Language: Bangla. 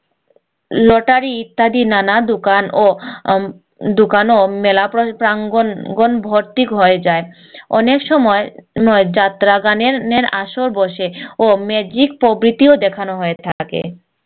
lottery ইত্যাদি নানা দুকান ও উম দুকান ও মেলা প্রাঙ্গন ভর্তি হয়ে যায় অনেক সময় ময় যাত্রা গানের আসর বসে ও magic প্রভৃতিও দেখানো হয়ে থাকে